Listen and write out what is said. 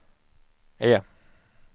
E